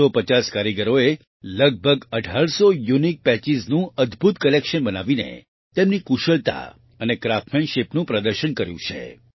450 કારીગરોએ લગભગ 1800 યુનિક Patchesનું અદભૂત કલેક્શન બનાવીને તેમની કુશળતા અને Craftsmanshipનું પ્રદર્શન કર્યું છે